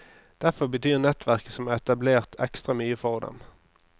Derfor betyr nettverket som er etablert, ekstra mye for dem.